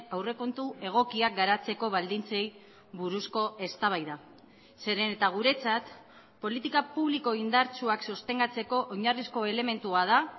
aurrekontu egokiak garatzeko baldintzei buruzko eztabaida zeren eta guretzat politika publiko indartsuak sostengatzeko oinarrizko elementua da